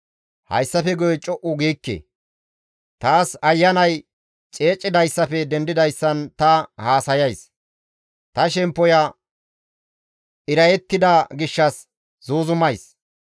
«Hayssafe guye co7u giikke! Taas ayanay ceecidayssafe dendidayssan ta haasayays; ta shemppoya irayettida gishshas zuuzumays.